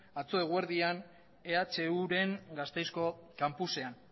atzo eguerdian ehuren gasteizko kanpusean